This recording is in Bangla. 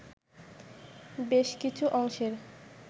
বেশকিছু অংশের